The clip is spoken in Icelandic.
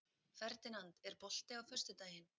Ferdinand, er bolti á föstudaginn?